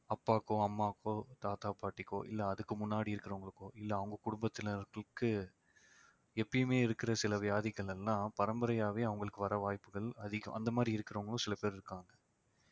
அப்பாக்கோ அம்மாவுக்கோ தாத்தா பாட்டிக்கோ இல்லை அதுக்கு முன்னாடி இருக்கறவங்களுக்கோ இல்லை அவங்க குடும்பத்துல இருக்கிறவங்களுக்கு எப்பயுமே இருக்கிற சில வியாதிகள் எல்லாம் பரம்பரையாவே அவங்களுக்கு வர வாய்ப்புகள் அதிகம் அந்த மாதிரி இருக்கிறவங்களும் சில பேர் இருக்காங்க